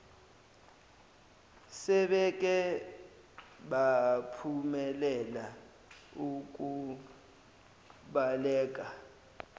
sebeke baphumelela ukubaleka